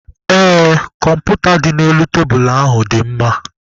Ee, kọmputa dị n'elu tebulu ahụ dị mma.